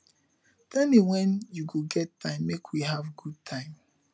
tell me when you go get time make we have good time